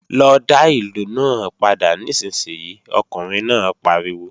Lọ dá ìlù náà padà nísinsìnyí, ọkùnrin náà pariwo!